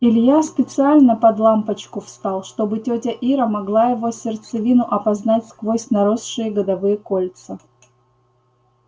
илья специально под лампочку встал чтобы тётя ира могла его сердцевину опознать сквозь наросшие годовые кольца